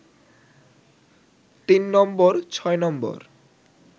তিন নম্বর, ছয় নম্বর